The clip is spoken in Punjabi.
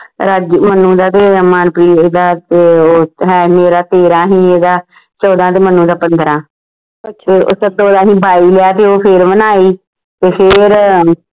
ਰਾਜੂ ਮਨੁ ਦਾ ਤੇ ਮਨਪ੍ਰੀਤ ਦਾ ਤੇ ਉਹ ਹੈ ਮੇਰਾ ਤੇਰਾ ਸੀ ਇਹਦਾ ਚੌਦਾਂ ਤੇ ਮਨੂ ਦਾ ਪੰਦ੍ਰਹ ਤੇ ਸੱਤੋ ਦਾ ਅਸੀਂ ਬਾਈ ਲਿਆ ਤੇ ਉਹ ਫੇਰ ਵੀ ਨਾ ਆਈ ਤੇ ਫੇਰ